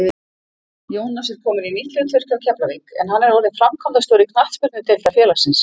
Jónas er kominn í nýtt hlutverk hjá Keflavík en hann er orðinn framkvæmdastjóri knattspyrnudeildar félagsins.